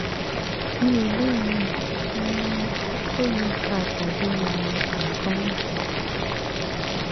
mi ò lè yí um koko yìí ká tàbí um nǹkan míì